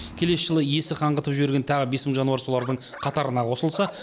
келесі жылы иесі қаңғытып жіберген тағы бес мың жануар солардың қатарына қосылса